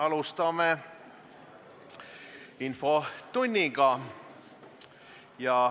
Alustame infotundi.